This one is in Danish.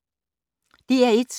DR1